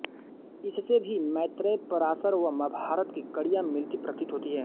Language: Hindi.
इससे भी मैत्रेय पराशर व महाभारत की कड़ियाँ मिलती प्रतीत होती है